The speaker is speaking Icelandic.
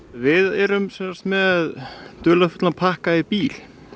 við erum með dularfullan pakka í bíl